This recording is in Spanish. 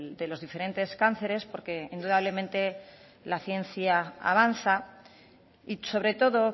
de los diferentes cánceres porque indudablemente la ciencia avanza y sobre todo